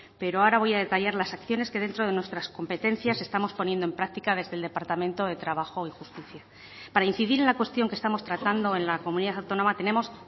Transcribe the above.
pero ahora voy a detallar las acciones que dentro de nuestras competencias estamos poniendo en práctica desde el departamento de trabajo y justicia para incidir en la cuestión que estamos tratando en la comunidad autónoma tenemos